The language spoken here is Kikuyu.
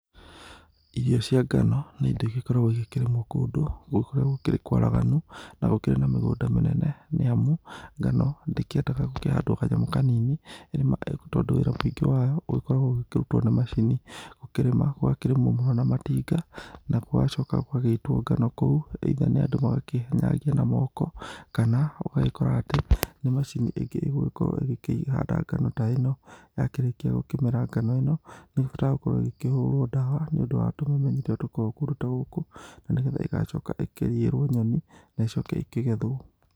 Irio cia ngano nĩ indo igĩkoragwo ikĩrĩmwo kũndũ kũrĩa kwaraganu, na gũkĩrĩ na mĩgũnda mĩnene nĩamu ngano ndĩkĩendaga gũkĩhandwo kanyamũ kanini nĩamu wĩra mũingĩ wayo ũgĩkoragwo ũgĩkĩrutwo na macini. Gũkĩrĩmwo gũgakĩrĩmwo mũno na matinga nagũgacoka gũgagĩitwo ngano kũu either andũ magakĩmĩnyagia na moko kana ũgagĩkora atĩ nĩ macini ingĩ ĩgũgĩkorwo igĩ kĩhanda ngano ta ĩno, yakĩrĩkia gũkĩmera ngano ĩno nĩhotaga gũkorwo ĩgĩkĩhũrwo ndawa nĩ ũndũ wa tũmemenyi tũrĩa tũkoragwo kuo kũndũ ta gũkũ na nĩ getha ĩgacoka ĩkĩ necoke ĩkĩgethwo.